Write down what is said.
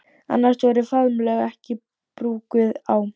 Annars voru faðmlög ekki brúkuð á